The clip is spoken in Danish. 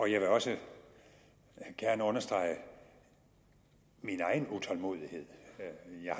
jeg vil også gerne understrege min egen utålmodighed i